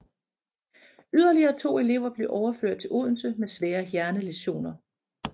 Yderligere 2 elever blev overført til Odense med svære hjernelæsioner